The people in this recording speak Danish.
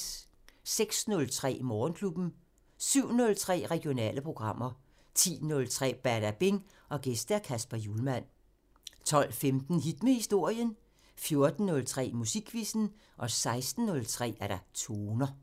06:03: Morgenklubben 07:03: Regionale programmer 10:03: Badabing: Gæst Kasper Hjulmand 12:15: Hit med historien 14:03: Musikquizzen 16:03: Toner